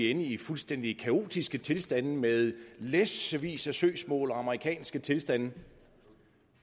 ende i fuldstændig kaotiske tilstande med læssevis af søgsmål og amerikanske tilstande